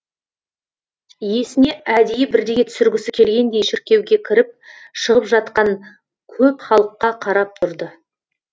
есіне әдейі бірдеңе түсіргісі келгендей шіркеуге кіріп шығып жатқан көп халыққа қарап тұрды